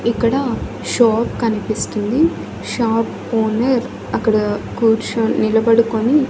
ఇక్కడ షోప్ కన్పిస్తుంది shop owner అక్కడ కూర్చోన్ నిలబడుకొని--